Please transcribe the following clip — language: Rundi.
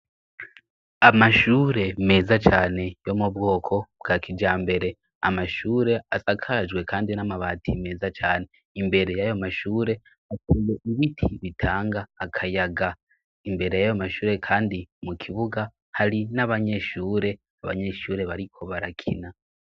Amashure meza cane yo mu bwoko bwa kija mbere amashure asakarajwe, kandi n'amabatiy meza cane imbere y'ayo mashure akuye ibiti bitanga akayaga imbere yayo mashure, kandi mu kibuga hari n'abanyeshure abanyeshure bariko barakina.